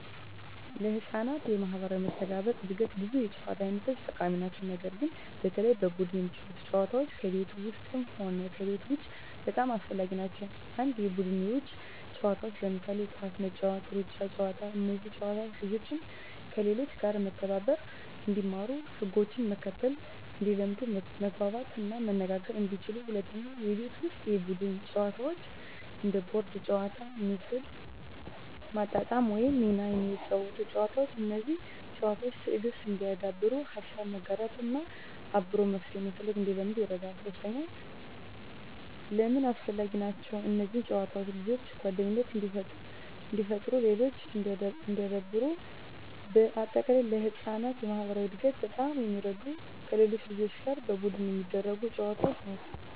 ለሕፃናት የማኅበራዊ መስተጋብር እድገት ብዙ የጨዋታ አይነቶች ጠቃሚ ናቸው። ነገር ግን በተለይ በቡድን የሚጫወቱ ጨዋታዎች ከቤት ውስጥም ሆነ ከቤት ውጭ በጣም አስፈላጊ ናቸው። 1. የቡድን የውጭ ጨዋታዎች ለምሳሌ ኳስ መጫወት፣ ሩጫ ጨዋታዎች እነዚህ ጨዋታዎች ልጆችን፦ ከሌሎች ጋር መተባበር እንዲማሩ ህጎችን መከተል እንዲለምዱ መግባባት እና መነጋገር እንዲችሉ 2. የቤት ውስጥ የቡድን ጨዋታዎች እንደ ቦርድ ጨዋታዎች፣ ምስል ማጣጣም ወይም ሚና የሚያጫውቱ ጨዋታዎች። እነዚህ ጨዋታዎች፦ ትዕግሥት እንዲያዳብሩ፣ ሀሳብ መጋራት እና አብሮ መፍትሄ መፈለግ እንዲለምዱ ይረዳሉ። 3. ለምን አስፈላጊ ናቸው? እነዚህ ጨዋታዎች ልጆችን፦ ጓደኝነት እንዲፈጥሩ ሌሎችን እንዲያክብሩ -በ አጠቃላይ: ለሕፃናት የማኅበራዊ እድገት በጣም የሚረዱት ከሌሎች ልጆች ጋር በቡድን የሚደረጉ ጨዋታዎች ናቸው።